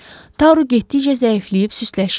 Taru getdikcə zəifləyib süstləşirdi.